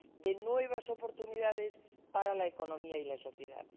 de nuevas oportunidades para la economía y la sociedad.